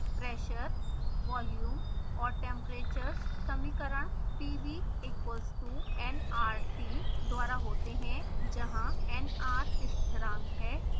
pressure volume और temperatures समीकरण pv equals to nrt द्वारा होते हैं जहाँ nr स्थिरांक है